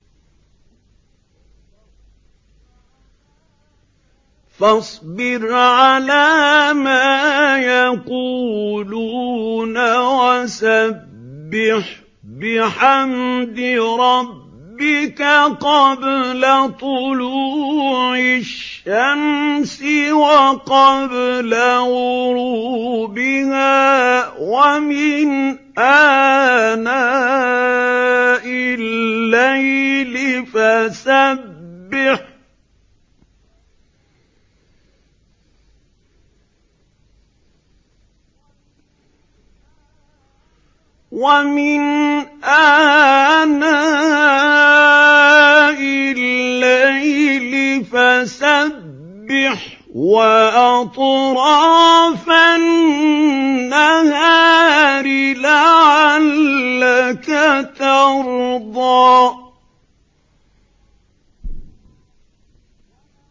فَاصْبِرْ عَلَىٰ مَا يَقُولُونَ وَسَبِّحْ بِحَمْدِ رَبِّكَ قَبْلَ طُلُوعِ الشَّمْسِ وَقَبْلَ غُرُوبِهَا ۖ وَمِنْ آنَاءِ اللَّيْلِ فَسَبِّحْ وَأَطْرَافَ النَّهَارِ لَعَلَّكَ تَرْضَىٰ